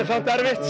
erfitt